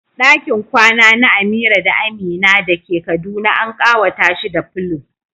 Dakin kwana na Amira da Amina da ke Kaduna an kawata shi da pillow.